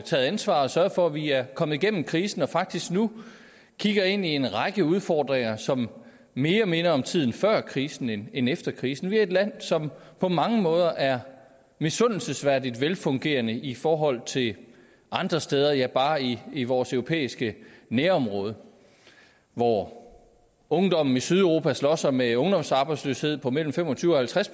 taget ansvar og sørget for at vi er kommet igennem krisen og faktisk nu kigger ind i en række udfordringer som minder mere om tiden før krisen end efter krisen vi er et land som på mange måder er misundelsesværdigt velfungerende i forhold til andre steder ja bare i i vores europæiske nærområde hvor ungdommen i sydeuropa slås med ungdomsarbejdsløshed på mellem fem og tyve og halvtreds